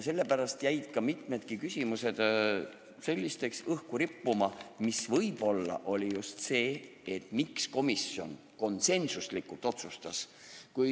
Sellepärast jäid mitmedki küsimused õhku rippuma, mis võib-olla oli just see põhjus, miks komisjon konsensuslikult nii otsustas.